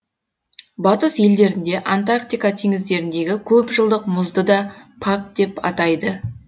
батыс елдерінде антарктика теңіздеріндегі көпжылдық мұзды да пак деп атайды